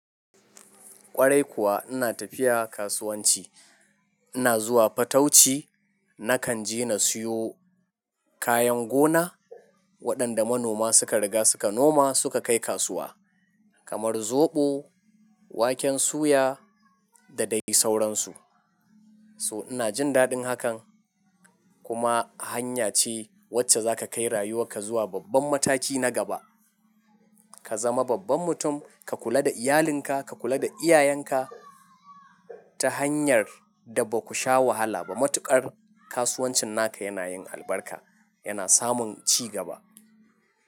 Ƙwarai kuwa ina tafiya kasuwanci, ina zuwa fatauci nakan je na siyo kayan gona waɗanda manoma suka riga suka noma suka kai kasuwa kamar zoɓo, waken suya da dai sauransu. So ina jin daɗin hakan kuma hanya ce wacce za ka kai rayuwarka zuwa babban mataki na gaba. Ka zama babban mutum, ka kula da iyalinka, ka kula da iyayenka ta hanyar da ba ku sha wahala ba. Matuƙar kasuwancin naka yana yin albarka, yana samun cigaba.